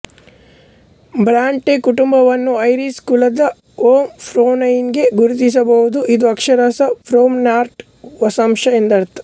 Brontë ಕುಟುಂಬವನ್ನು Irish ಕುಲದ O ಪ್ರೊಂನ್ಟೈಗೆ ಗುರುತಿಸಬಹುದು ಇದು ಅಕ್ಷರಶಃ ಪ್ರೋಂನ್ಟಾಕ್ ವಂಶಸ್ಥ ಎಂದರ್ಥ